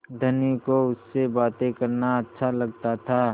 धनी को उससे बातें करना अच्छा लगता था